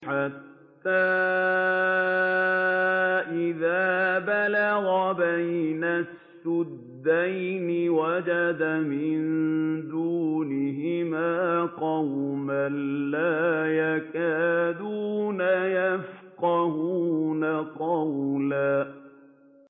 حَتَّىٰ إِذَا بَلَغَ بَيْنَ السَّدَّيْنِ وَجَدَ مِن دُونِهِمَا قَوْمًا لَّا يَكَادُونَ يَفْقَهُونَ قَوْلًا